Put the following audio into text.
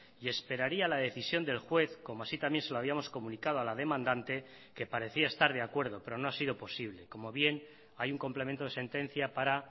y esperaría la decisión del juez como así también se lo habíamos comunicado a la demandante que parecía estar de acuerdo pero no ha sido posible como bien hay un complemento de sentencia para